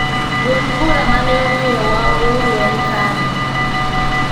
Duond bura mane omiyo wa ouru en KANU